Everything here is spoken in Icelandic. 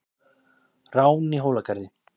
Rán í Hólagarði